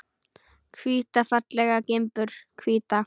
Hvíta fallega gimbur, hvíta.